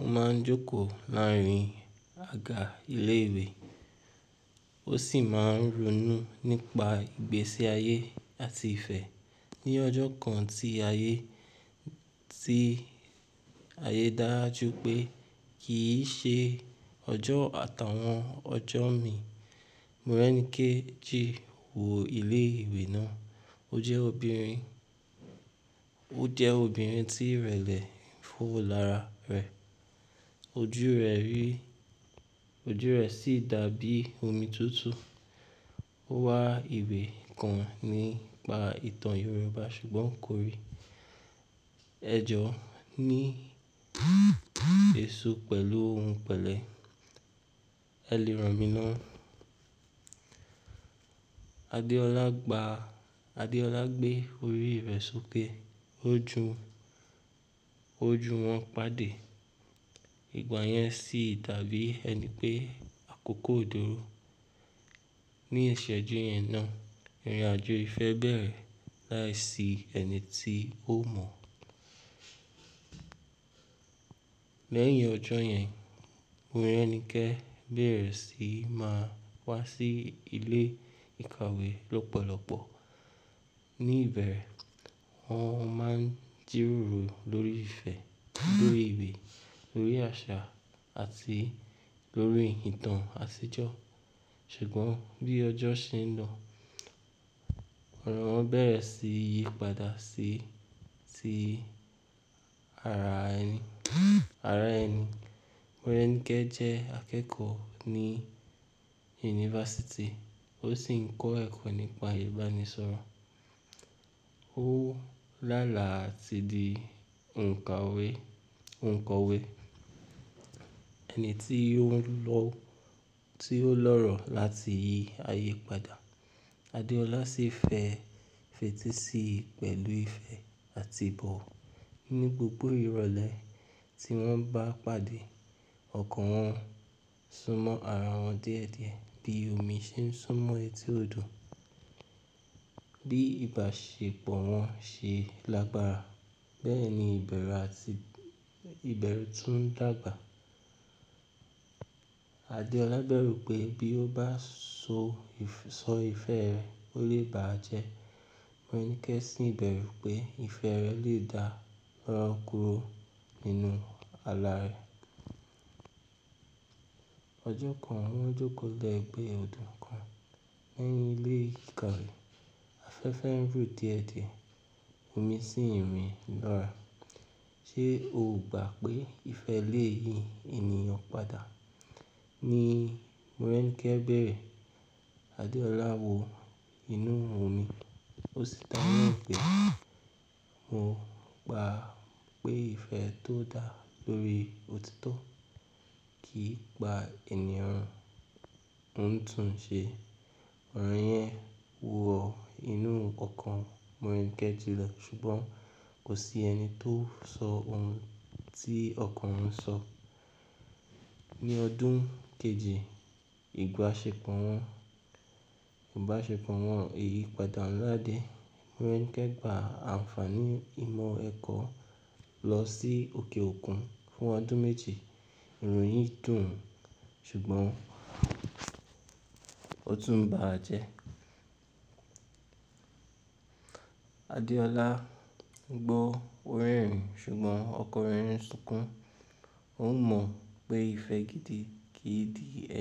ó máa ń jókòó láàárín àga ilé ìwé, ó sì máa ń ronú nípa ìgbésí ayé àti ìfẹ́. Ni ọjọ́ kan tí ayé, tí ayé dáa jú pé kì í ṣe ọjọ́ àtàwọn ọjọ́ mi, Morẹ́nikẹ́ji wò ilé ìwé náà. O je obinrin, o je obinrin ti irele fo lara re. Ojú rẹ̀ rí, ojú rẹ̀ sì dàbí omi tútù. Ó wá ìwé kan nípa ìtàn Yorùbá ṣùgbọ́n kò rí. "Ẹ jọ ní èso pẹ̀lú ohun pẹ̀lẹ́, ẹ lè rán mi ná." Adeola gba, Adeola gbé orí rẹ̀ sókè, ojú, ojú wọn pàdé. Ìgbà yẹn sì dàbí ẹni pé àkókò ò dúró. Ni ìṣẹ́jú yẹn náà, ìrìnàjò ìfẹ́ bẹ̀rẹ̀ láìsí ẹni tí ó mọ̀. Lẹ́yìn ọjọ́ yẹn, Morẹ́nikẹ́ bẹ̀rẹ̀ sí máa wá sí ilé ìkàwé lọ́pọ̀lọpọ̀. Ni ìbẹ̀rẹ̀ wọ́n máa ń jírórò lórí ìfẹ́, lórí ìwé, lórí àṣà àti lórí ìtàn àṣejọ́. Ṣùgbọ́n bí ọjọ́ ṣe ń lọ, ọ̀rọ̀ wọn bẹ̀rẹ̀ sí yípadà sí, tí ara ẹni. Ara ẹni. Morẹ́nikẹ́ jẹ́ akẹ́kọ̀ọ́ ní yunifásítì ó sì ń kọ́ ẹ̀kọ́ nípa ìbánisọ̀rọ̀. O lala ati di onkawe, onkowe ẹni tí ó ń lọ, tí ó ń lọ́rọ̀ láti yí ayé padà. Adeola sì fẹ́ fetí sí i pẹ̀lú ìfẹ́ àti ìbọ̀. Ní gbogbo ìrọ̀lẹ́ tí wọ́n bá pàdé, ọ̀kan wọn súnmọ́ ara wọn díẹ̀díẹ̀ bí omi ṣe ń súnmọ́ etí odò. Bí ìbáṣepọ̀ wọn ṣe lágbára, bẹ́ẹ̀ni ìbẹ̀rú àti, ìbẹ̀rú tún dàgbà. Adeola bẹ̀rù pé bí ó bá so, sọ ìfẹ́ rẹ̀ ó lè bàá jẹ́. Morẹ́nikẹ́ sì ń bẹ̀rù pé ìfẹ́ rẹ̀ lè dà rọ́kúrọ̀ nínú ààlà rẹ̀. Ọjọ́ kan wọ́n jókòó lẹ́gbẹ̀ẹ́ odò kan lẹ́yìn ilé ìkàwé. Afẹ́fẹ́ ń rù díẹ̀díẹ̀, omi sì ń rìn lọ́ra. "Ṣé o ò gbà pé ìfẹ́ le yí ènìyàn padà?" Ni Morẹ́nikẹ́ béèrè. Adeola wò inú omi, ó sì dáhùn pé, "Mo gbà pé ìfẹ́ tó dà lórí òtítọ́ kì í pa ènìyàn." Òótun ṣe, ọ̀rọ̀ yẹn wò ó inú ọkàn Morẹ́nikẹ́ jùlọ ṣùgbọ́n kò sí ẹni tó sọ ohun tí ọkàn ń sọ. Ni ọdún kejì ìbáṣepọ̀ wọn, ìbáṣepọ̀ wọn yìí padà ńlá dé. Morẹ́nikẹ́ gba àǹfààní ìmọ̀ ẹ̀kọ́ lọ sí òkè òkun fún ọdún méje. Irun yìn dùn, ṣùgbọ́n ó tún bà á jẹ́. Adeola gbọ́ orin ṣùgbọ́n ọkọ̀ rẹ̀ ń sunkún. Ó mọ̀ pé ìfẹ́ gidi kì í dì ẹ.